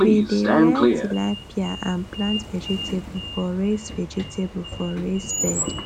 we dey rear tilapia and plant vegetable for raised vegetable for raised bed